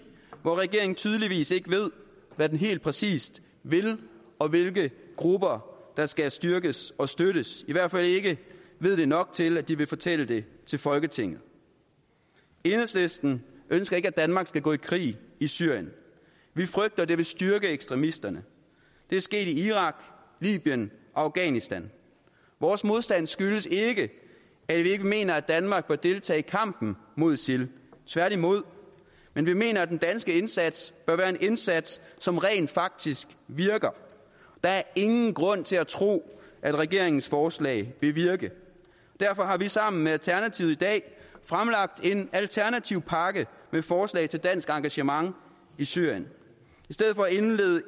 hvor regeringen tydeligvis ikke ved hvad den helt præcis vil og hvilke grupper der skal styrkes og støttes i hvert fald ikke ved det nok til at de vil fortælle det til folketinget enhedslisten ønsker ikke at danmark skal gå i krig i syrien vi frygter at det vil styrke ekstremisterne det er sket i irak libyen og afghanistan vores modstand skyldes ikke at vi ikke mener at danmark bør deltage i kampen mod isil tværtimod men vi mener at den danske indsats bør være en indsats som rent faktisk virker der er ingen grund til at tro at regeringens forslag vil virke derfor har vi sammen med alternativet i dag fremlagt en alternativ pakke med forslag til dansk engagement i syrien